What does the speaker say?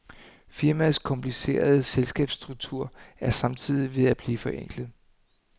Firmaets komplicerede selskabsstruktur er samtidig ved at blive forenklet.